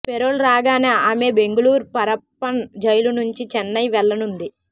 payroll రాగానే ఆమె Bengaluru Parappana jail నుంచి చెన్నై వెళ్లనుంది